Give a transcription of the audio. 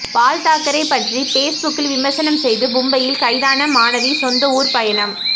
பால்தாக்கரே பற்றி பேஸ்புக்கில் விமர்சனம் செய்து மும்பையில் கைதான மாணவி சொந்த ஊர் பயணம்